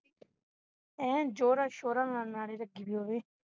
ਏ ਜ਼ੋਰਾਂ-ਸ਼ੋਰਾਂ ਨਾਲ ਲਗੀ ਦੀ ਹੋਵੇ